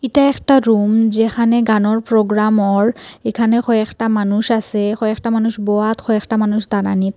এটা একটা রুম যেখানে গানোর প্রোগ্রাম হর এখানে কয়েকটা মানুষ আসে কয়েকটা মানুষ বোয়াত কয়েকটা মানুষ দাঁড়ানিত ।